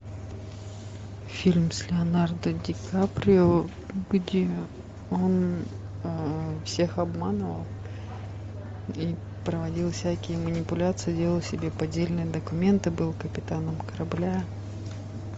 фильм с леонардо ди каприо где он всех обманывал и проводил всякие манипуляции делал себе поддельные документы был капитаном корабля